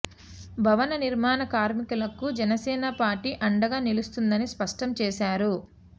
భవన నిర్మాణ కార్మికులకు జనసేన పార్టీ అండగా నిలుస్తుందని స్పష్టం చేశారు